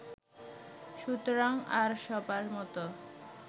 সুতরাং আর সবার মত